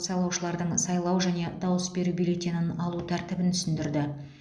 сайлаушылардың сайлау және дауыс беру бюллетенін алу тәртібін түсіндірді